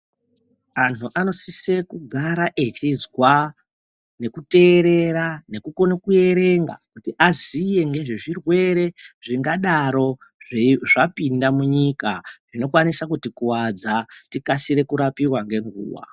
Antu anosise kugara echizwa nekuteerera nekukona kuerenga kuti aziye ngezvezvirwere zvingadaro zvapinda munyika zvinokwanisa kutikuwadza tikasire kurapiwa ngenguwa.